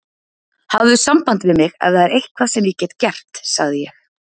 Hafðu samband við mig, ef það er eitthvað sem ég get gert sagði ég.